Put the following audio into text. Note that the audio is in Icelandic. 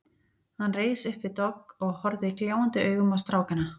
Hann reis upp við dogg og horfði gljáandi augum á strákana.